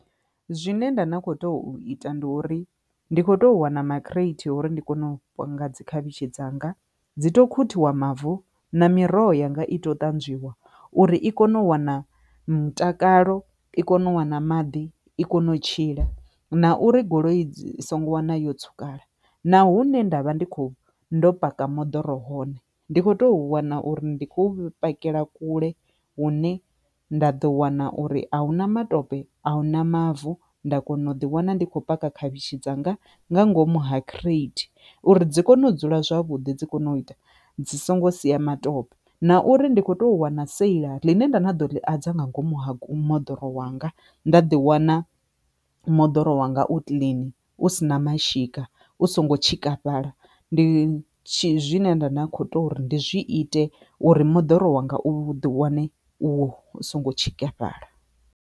Zwine nda na kho to ita ndi uri ndi kho to wana makireithi uri ndi kone u nga dzi khavhishi dzanga dzi to khuthuwa mavu na miroho yanga i tea u ṱanzwiwa uri i kone u wana mutakalo i kone u wana maḓi i kone u tshila na uri goloi dzi songo wana yo tsukala na hune ndavha ndi kho ndo paka moḓoro hone ndi kho to wana uri ndi khou pfhukela kule hune nda ḓo wana uri ahuna matope a hu na mavu. Nda kona u ḓi wana ndi kho paka khavhishi dzanga nga ngomu ha khireothi uri dzi kone u dzula zwavhuḓi dzi kone u ita dzi songo sia matope na uri ndi kho to wana sela ḽine nda na dza nga ngomu ha moḓoro wanga nda ḓi wana moḓoro wanga u kilini hu sina mashika u songo tshikafhala ndi tshine nda kho to uri ndi zwi ite uri moḓoro wanga u ḓi wane u songo tshikafhala.